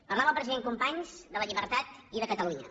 parlava el president companys de la llibertat i de catalunya